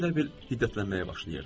O elə bil hiddətlənməyə başlayırdı.